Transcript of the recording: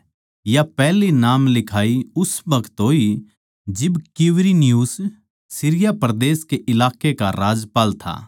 या पैहली नाम लिखाई उस बखत होई जिब क्‍विरिनियुस सीरिया परदेस कै इलाकै का राज्यपाल था